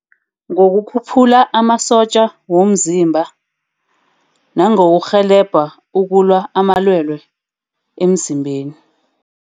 Ngokukhuphula amasotja womzimba. Nangokurhelebha ukulwa amalwele emzimbeni.